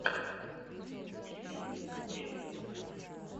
в ютюбе бэйбидас